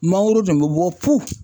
Mangoro dun be bɔ fu.